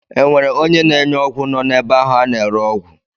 E nwere onye na-enye ọgwụ nọ n'ebe ahụ a na-ere ọgwụ?